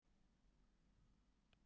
En hún á sinn þátt í því.